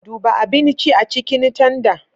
Duba abinci a cikin tanda.